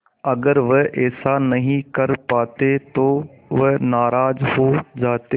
अगर वह ऐसा नहीं कर पाते तो वह नाराज़ हो जाते